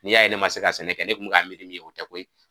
Ni y'a ye ne man se ka sɛnɛ kɛ ne kun mɛ ka miiri min ye o tɛ koyi.